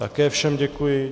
Také všem děkuji.